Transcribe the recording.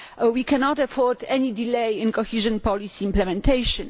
We cannot afford any delay in cohesion policy implementation.